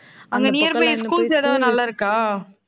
அங்க nearby schools எதாவது, நல்லா இருக்கா